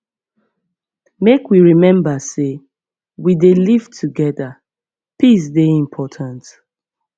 make we rememba sey we dey live togeda peace dey important